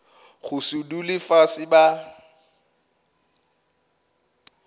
go se dule fase ba